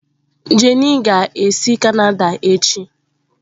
Jenny ga-esi Canada echi